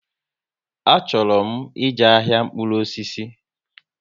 Achọrọ m ije ahịa mkpụrụ osisi